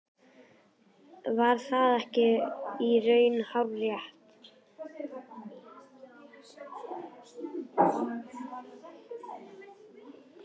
Var það ekki í raun hárrétt?